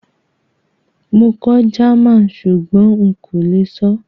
Mo kọ́ German súgbón n kó le sọ́